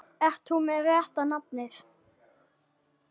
Ert þú með rétta nafnið?